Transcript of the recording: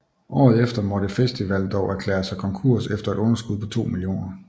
Året efter måtte festival dog erklære sig konkurs efter et underskud på 2 mio